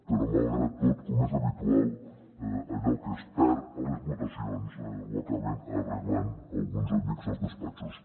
però malgrat tot com és habitual allò que es perd a les votacions ho acaben arreglant alguns amics als despatxos